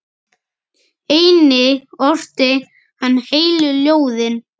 Einnig orti hann heilu ljóðin.